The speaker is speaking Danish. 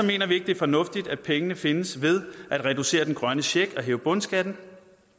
vi ikke det er fornuftigt at pengene findes ved at reducere den grønne check og hæve bundskatten